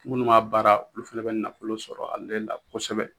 Minnu m'a baara olu fɛnɛ bɛ nafolo sɔrɔ ale la kosɛbɛ.